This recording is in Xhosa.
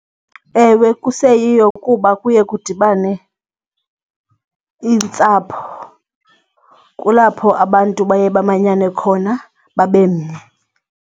Ewe, kuseyiyo kuba kuye kudibane iintsapho. Kulapho abantu baye bamanyane khona babe mnye.